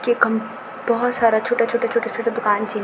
यखम बहौत सारा छोटा-छोटा-छोटा-छोटा दूकान छिन।